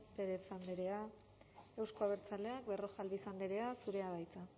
pérez andrea euzko abertzaleak berrojalbiz andrea zurea da hitza